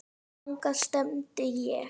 Þangað stefndi ég.